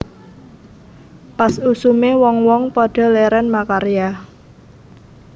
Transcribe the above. Pas usume wong wong padha leren makarya